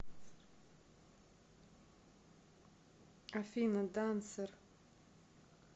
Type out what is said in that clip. афина дансер